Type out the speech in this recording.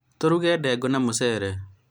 tũruge ndengũ na mũcere